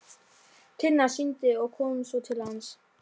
Tinna synti og kom svo til hans.